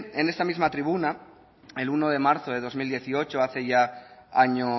en esta misma tribuna el uno de marzo de dos mil dieciocho hace ya año